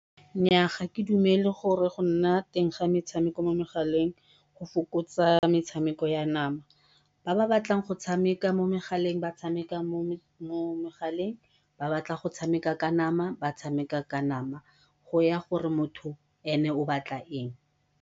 Nnyaa ga ke dumele gore go nna teng ga metshameko mo megaleng go fokotsa metshameko ya nama, ba ba batlang go tshameka mo megaleng ba tshameka mo megaleng ba ba batlang go tshameka ka nama ba tshameka ka nama go ya gore motho ene o batla eng.